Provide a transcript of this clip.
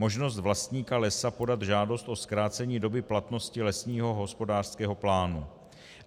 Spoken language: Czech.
Možnost vlastníka lesa podat žádost o zkrácení doby platnosti lesního hospodářského plánu.